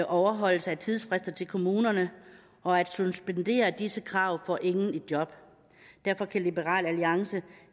overholdelse af tidsfrister til kommunerne og at suspendere disse krav får ingen i job derfor kan liberal alliance